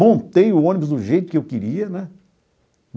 Montei o ônibus do jeito que eu queria, né?